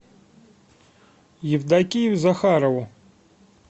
евдокию захарову